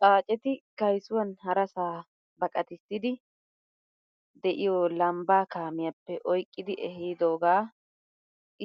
Xaacetti kaysuwan harasa baqatisidi deiyo lamba kaamiyappe oyqqidi ehidoga